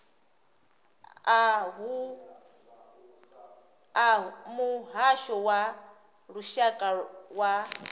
a muhasho wa lushaka wa